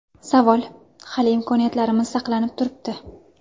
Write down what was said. Savol: Hali imkoniyatlarimiz saqlanib turibdi.